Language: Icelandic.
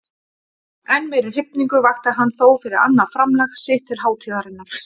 Enn meiri hrifningu vakti hann þó fyrir annað framlag sitt til hátíðarinnar.